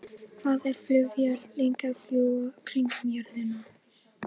Ég sagði Aðalsteini að ég hefði gleymt biblíunni minni á náttborðinu.